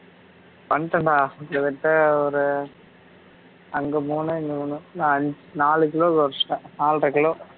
பண்ணிட்டேன்டா கிட்டத்தட்ட ஒரு அங்க மூனு இங்க மூனு நா நாலு கொரச்சுட்டேன் நாலரை கிலோ